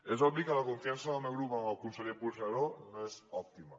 és obvi que la confiança del meu grup en el conseller puigneró no és òptima